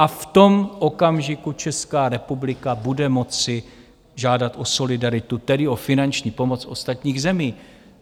A v tom okamžiku Česká republika bude moci žádat o solidaritu, tedy o finanční pomoc ostatních zemí.